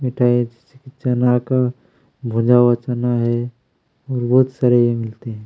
मिठाई चना का भूंजा हुआ चना है और बहुत सारे ये मिलते हैं।